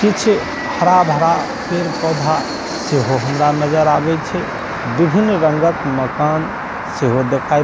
किछ हरा-भरा पेड़-पौधा सेहो हमरा नजर आवै छै विभिन्न रंगक मकान सेहो देखाएब --